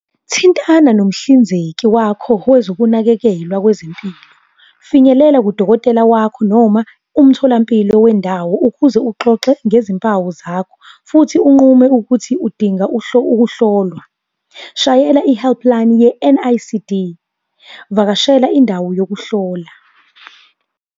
Thintana nomhlinzeki wakho wezokunakekelwa kwezempilo. Finyelela kudokotela wakho noma umtholampilo wendawo ukuze uxoxe ngezimpawu zakho, futhi unqume ukuthi udinga ukuhlolwa. Shayela i-helpline ye-N_I_C_D. Vakashela indawo yokuhlola.